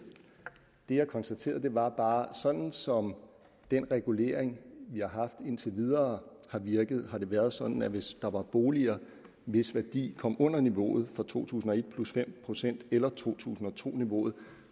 det jeg konstaterede var bare at sådan som den regulering vi har haft indtil videre har virket har det været sådan at hvis der var boliger hvis værdi kom under niveauet for to tusind og et plus fem procent eller to tusind og to niveauet